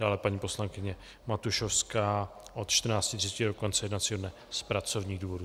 Dále paní poslankyně Matušovská od 14.30 do konce jednacího dne z pracovních důvodů.